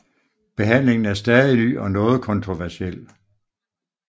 Behandlingen er stadig ny og noget kontroversiel